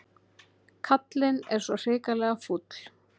Kallinn er svo hrikalega fúll.